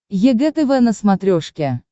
егэ тв на смотрешке